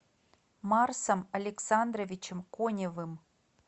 марсом александровичем коневым